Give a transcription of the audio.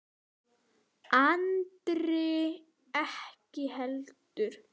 Andri ekki heldur.